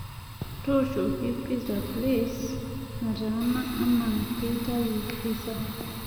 tooshoki pizza place nataana naa keitayu pissa